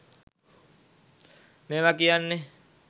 මේව කියන්නෙ